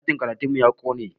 Ɗakin karatun mu ya ƙone